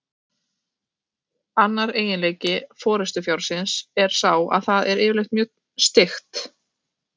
Annar eiginleiki forystufjárins er sá að það er yfirleitt mjög styggt.